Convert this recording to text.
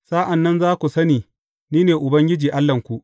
Sa’an nan za ku sani ni ne Ubangiji Allahnku.’